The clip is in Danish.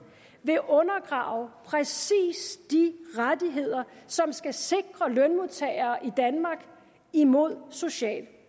vil undergrave præcis de rettigheder som skal sikre lønmodtagerne i danmark imod social